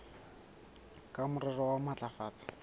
ka morero wa ho matlafatsa